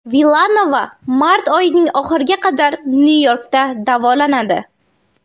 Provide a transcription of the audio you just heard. Vilanova mart oyining oxiriga qadar Nyu-Yorkda davolanadi.